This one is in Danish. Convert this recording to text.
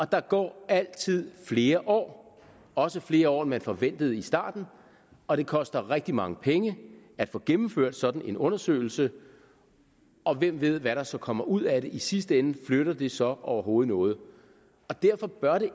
der går altid flere år også flere år end man forventede i starten og det koster rigtig mange penge at få gennemført sådan en undersøgelse og hvem ved hvad der så kommer ud af det i sidste ende flytter det så overhovedet noget derfor bør det